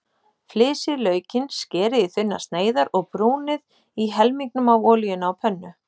Flysjið laukinn, skerið í þunnar sneiðar og brúnið í helmingnum af olíunni á pönnu.